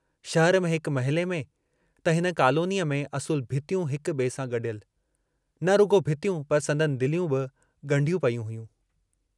शहर हिक महिले में त हिते कॉलोनीअ में असुल भितियूं हिक बिए सां गडियल, न रुगो भितियूं पर संदनि दिलियूं बि गुंढियूं पेयूं हयूं।